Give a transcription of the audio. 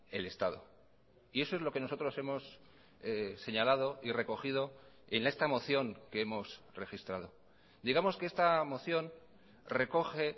el estado y eso es lo que nosotros hemos señalado y recogido en esta moción que hemos registrado digamos que esta moción recoge